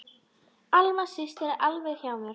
Alma systir er alveg hjá mér.